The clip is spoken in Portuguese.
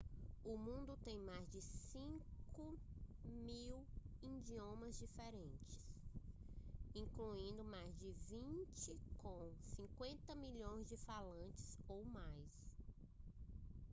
o mundo tem mais de 5.000 idiomas diferentes incluindo mais de vinte com 50 milhões de falantes ou mais